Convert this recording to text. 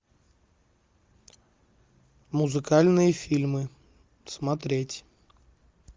музыкальные фильмы смотреть